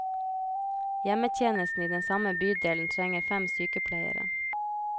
Hjemmetjenesten i den samme bydelen trenger fem sykepleiere.